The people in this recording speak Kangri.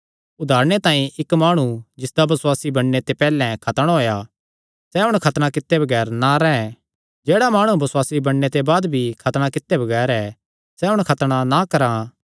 उदारणे तांई इक्क माणु जिसदा बसुआसी बणने ते पैहल्ले खतणा होएया सैह़ हुण खतणा कित्ते बगैर ना रैंह् जेह्ड़ा माणु बसुआसी बणने ते बाद भी खतणा कित्ते बगैर ऐ सैह़ हुण खतणा ना करां